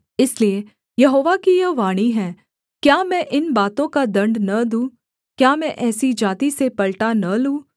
इसलिए यहोवा की यह वाणी है क्या मैं इन बातों का दण्ड न दूँ क्या मैं ऐसी जाति से पलटा न लूँ